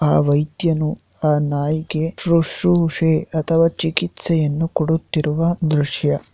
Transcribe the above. ಆ ವೈದ್ಯನು ಆ ನಾಯಿಗೆ ಶುಶ್ರುಷೆ ಅಥವಾ ಚಿಕಿತ್ಸೆಯನ್ನು ಕೊಡುತ್ತಿರುವ ದೃಶ್ಯ.